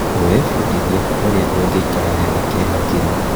Wĩbundithie ũrĩa ũngĩikara wega kĩhakiri.